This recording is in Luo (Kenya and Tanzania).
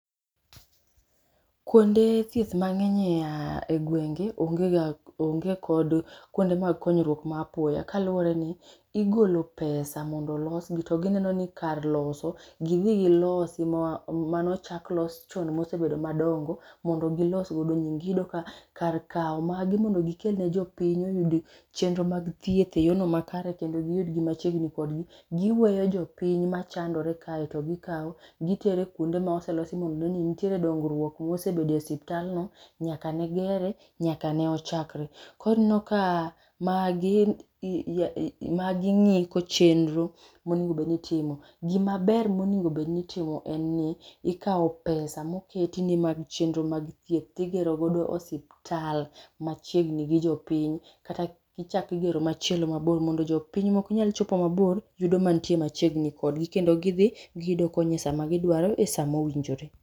Kuonde thieth mang'eny e gwenge onge kod kuonde mag konyruok ma apoya kaluworeni igolo pesa bondo losgi, tiyudo ni kar loso gidhi gilosi manochak chon mosebedo madongo mondo gilos godo nying. Iyudo ka kar kawo magi mondo gikel ni jo piny oyud chenro mag thieth eyorno makare giweyo jopiny machandore kae to gikaw gitero kuonde ma ose losi mantiere dongruok mosebedo e osiptand no nyaka ne gere nyaka ne ochakre. Koro ineno ka magi ng'iko chenro monego bed ni itimo. Gima ber monego bed ni itimo en ni ikawo pesa moketi ni mag chenro moketi ni mag thieth to igero godo osiptal machiegni gi jopiny. Kata ka ichako igero moro mabor mondo jopiny maok nyal chopo mabor, yudo mantie machiegni kodgi. Kondo gidhi giyudo kony esa magiduaro, saa mowinjore.